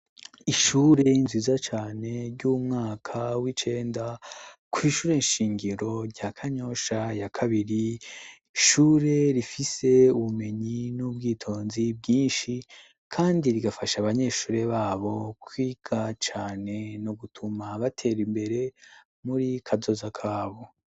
Ishure nziza cane ry'umwaka w'icenda, kw' ishure nshingiro rya Kanyosha ya kabiri, ishure rifise ubumenyi n'ubwitonzi bwinshi, kandi rigafasha abanyeshure babo kwiga cane no gutuma bater' imbere muri kazoza kabo